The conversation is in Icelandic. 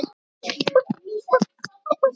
En stenst þetta?